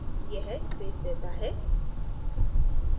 यह space देता है